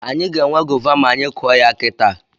Anyị ga-enwe gova ma anyị kụọ ya kita